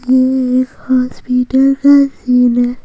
ये एक हॉस्पिटल का सीन है।